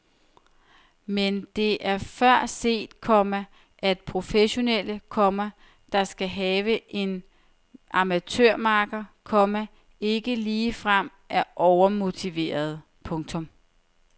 Men det er før set, komma at professionelle, komma der skal have en amatørmakker, komma ikke ligefrem er overmotiverede. punktum